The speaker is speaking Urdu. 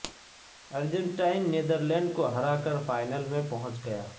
ارجنٹائن نیدرلینڈ کو ہرا کر فائنل میں پہنچ گیا